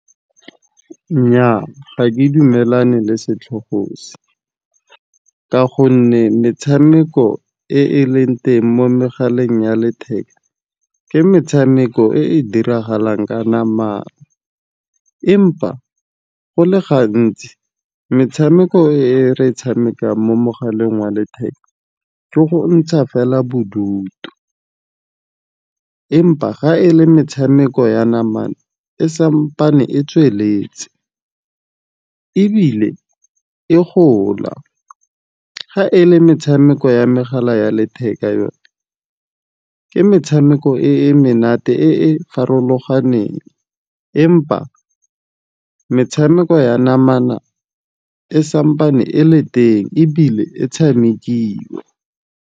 Nnyaa, ga ke dumelane le setlhogo se. Ka gonne, metshameko e e leng teng mo megaleng ya letheka ke metshameko e e diragalang ka namana. Empa go le gantsi metshameko e re e tshamekang mo mogaleng wa letheka ko go ntsha fela bodutu. Empa ga e le metshameko ya namana sampane e tsweletse ebile e gola. Ga e le metshameko ya megala ya letheka yone ke metshameko e e menate, e e farologaneng. Empa metshameko ya namana e sampane e le teng ebile e tshamekiwa.